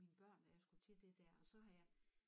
Mine børn at jeg skulle til de dér og så har jeg